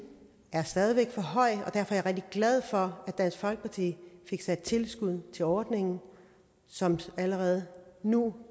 er stadig væk for høj og derfor er jeg rigtig glad for at dansk folkeparti fik sat tilskuddet til ordningen som allerede nu